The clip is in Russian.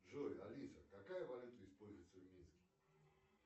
джой алиса какая валюта используется в минске